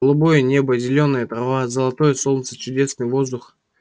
голубое небо зелёная трава золотое солнце чудесный воздух